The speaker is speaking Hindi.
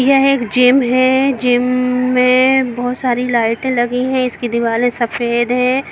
यह एक जिम में बहुत सारी लाइट लगी है इसकी दिवाली सफेद है।